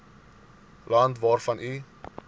land waarvan u